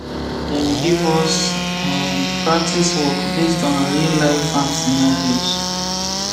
dem give us um practice work based on real life farm scenarios